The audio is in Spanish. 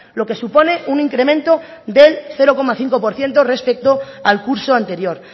lo que supone un incremento del cero coma cinco por ciento respecto al curso anterior